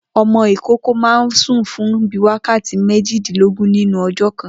O̩mo̩ ìkókó máa ń sùn fún bíi wákàtí méjìdínlógún nínú o̩jó̩̩ kan